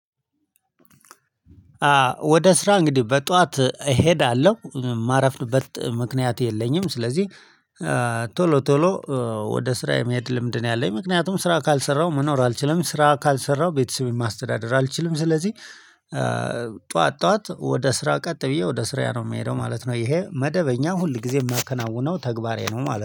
ወደ ስራ እንግዲህ በጧት እሄዳለሁ ማረፍድበት ምክንያት የለኝም። ስለዚህ ቶሎ ቶሎ ወደ ስራ የመሄድ ልምድ ነው ያለኝ ምክንያቱም ስራ ካልሰራው መኖር አልችልም ስራ ካልሰራው ቤተሰብም ማስተዳደር አልችልም። ስለዚህ ጠዋት ጠዋት ወደ ስራ ቀጥ ብዬ ወደ ስራ ነው የምሄደው ማለት ነው። ይሄ መደበኛ ሁል ጊዜ የማከናውነው ተግባሬ ነው ማለት ነው